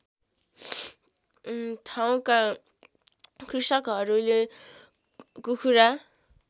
ठाउँका कृषकहरूले कुखुरा